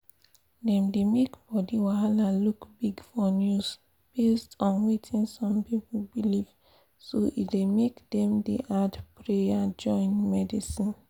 dem dey make body wahala look big for news based on wetin some people believe so e dey make dem dey add prayer join medsin